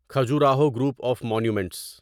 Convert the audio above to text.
Khajuraho group of monuments